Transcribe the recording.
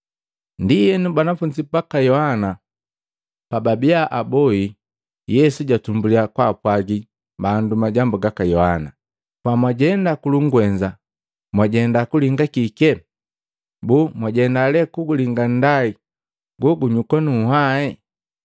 Ndienu, banafunzi baka Yohana pababia abohi, Yesu jatumbulya kwaapwagi bandu majambu gaka Yohana, “Pamwajenda kulungwenza mwajenda kulinga kike? Boo, mwajenda lee kulinga nndai lelinyuka nu nhwae?